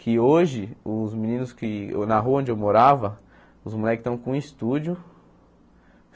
Que hoje, os meninos que... Na rua onde eu morava, os moleque tão com um estúdio.